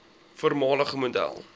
voormalige model